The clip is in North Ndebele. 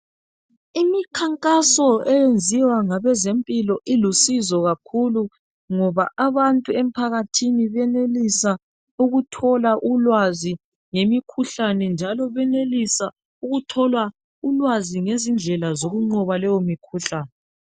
imikhankaso enziwa ngabazempilo ilusizo kakhulu ngoba abantu emphakathini benelisa ukuthola ulwazi ngemikhuhlane njalo benelisa ukuthola ulwazi ngezindlela zokunqoba leyo mikhuhlane